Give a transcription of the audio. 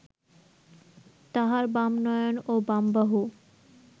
তাঁহার বাম নয়ন ও বাম বাহু